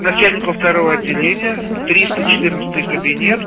начальнику второго отделения триста четырнадцатый кабинет